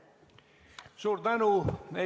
Suur tänu!